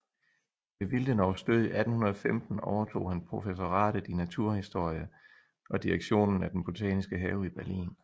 Ved Willdenows død 1815 overtog han professoratet i naturhistorie og direktionen af den botaniske have i Berlin